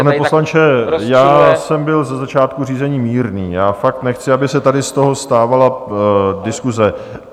Pane poslanče, já jsem byl ze začátku řízení mírný, já fakt nechci, aby se tady z toho stávala diskuse.